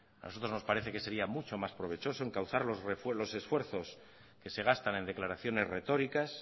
a nosotros nos parece que sería mucho más provechoso encauzar los esfuerzos que se gastan en declaraciones retóricas